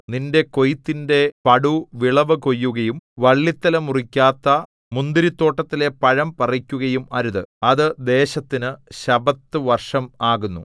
നിന്റെ കൊയ്ത്തിന്റെ പടു വിളവു കൊയ്യുകയും വള്ളിത്തല മുറിക്കാത്ത മുന്തിരിത്തോട്ടത്തിലെ പഴം പറിക്കുകയും അരുത് അത് ദേശത്തിന് ശബ്ബത്ത് വർഷം ആകുന്നു